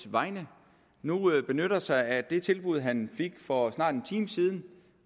vegne nu benytter sig af det tilbud han fik for snart en time siden